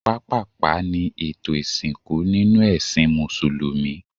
Pápàpá ni ètò ìsìnkú ninu ẹ́sìn músùlùmí